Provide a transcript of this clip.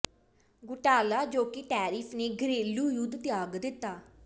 ਘੁਟਾਲਾ ਜੋ ਕਿ ਟੈਰੀਫ਼ ਨੇ ਘਰੇਲੂ ਯੁੱਧ ਤਿਆਗ ਦਿੱਤਾ